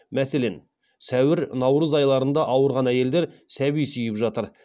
мәселен сәуір наурыз айларында ауырған әйелдер сәби сүйіп жатыр